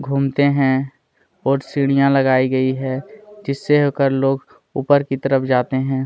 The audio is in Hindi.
घूमते है और सीढ़िया लगाई गई है जिसे होकर लोग उपर की तरफ जाते है।